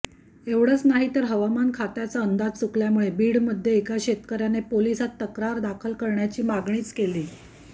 एवढंच नाहीतर हवामान खात्याचा अंदाज चुकल्यामुळे बीडमध्ये एका शेतकऱ्याने पोलिसांत तक्रार दाखल करण्याचा मागणीच केलीये